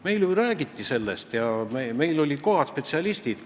Meile ju räägiti sellest ja meil olid kohal spetsialistid.